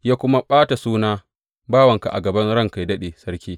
Ya kuwa ɓata suna bawanka a gaban ranka yă daɗe, sarki.